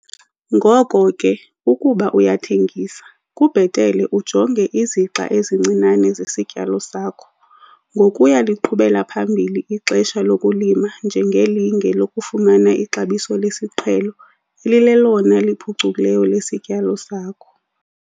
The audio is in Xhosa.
Ngoko ke ukuba uyathengisa, kubhetele ujonge izixa ezincinane zesityalo sakho, ngokuya liqhubela phambili ixesha lokulima njengelinge lokufumana ixabiso lesiqhelo elilelona liphucukileyo lesityalo sakho.